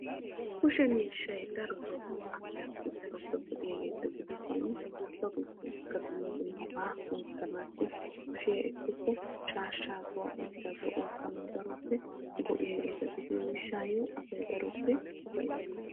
Kushe miishshay darotto asaa keehippe go'iyaagetta gidishin bashiya ekkikko shaashsha shaa'annawu maadiyagan asay daroppe ufayttees.